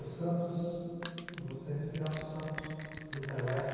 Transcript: O Santos, você respirava o Santos do Pelé.